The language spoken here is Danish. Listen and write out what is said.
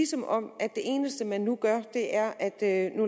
som om det eneste man nu gør er at